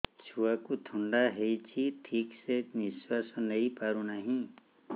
ଛୁଆକୁ ଥଣ୍ଡା ହେଇଛି ଠିକ ସେ ନିଶ୍ୱାସ ନେଇ ପାରୁ ନାହିଁ